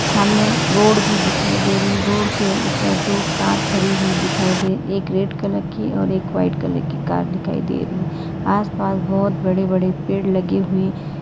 सामने रोड भी दिखाई दे रही है रोड के ऊपर दो कार खड़ी हुई दिखाई दे एक रेड कलर की और एक वाइट कलर की कार दिखाई दे रही है आसपास बहुत बड़े बड़े पेड़ लगी हुई--